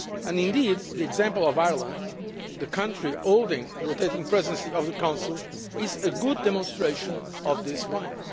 Indeed, the example of Ireland, the country holding the rotating Presidency of the Council, is a good demonstration of this point.